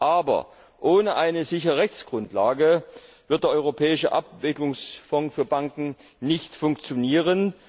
Aber ohne eine sichere Rechtsgrundlage wird der Europäische Abwicklungsfonds für Banken nicht funktionieren.